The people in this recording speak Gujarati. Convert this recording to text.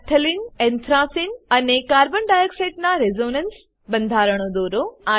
નફ્થલેને એન્થ્રેસને અને carbon ડાયોક્સાઇડ નાં રેઝોનન્સ બંધારણો દોરો